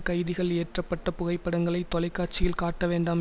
கைதிகள் ஏற்றப்பட்ட புகைப்படங்களை தொலைக்காட்சியில் காட்டவேண்டாம்